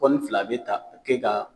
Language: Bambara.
Kɔni fila a bɛ taa ka kɛ ka